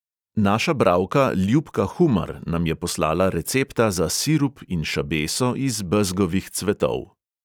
Naša bralka ljubka humar nam je poslala recepta za sirup in šabeso iz bezgovih cvetov.